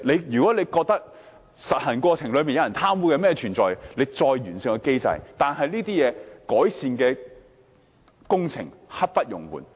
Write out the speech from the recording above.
如果政府在實行過程中發現有貪污的情況，可以再完善機制，但這些改善工程是刻不容緩的。